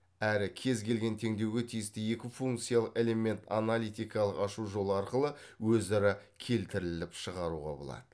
әрі кез келген теңдеуге тисті екі функциялық элемент аналитикалық ашу жолы арқылы өзара келтіріліп шығаруға болады